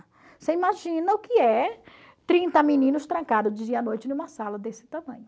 Você imagina o que é trinta meninos trancados dia e noite numa sala desse tamanho.